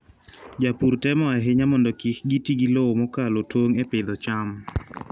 Jopur temo ahinya mondo kik giti gi lowo mokalo tong' e pidho cham.